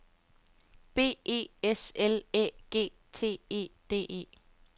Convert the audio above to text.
B E S L Æ G T E D E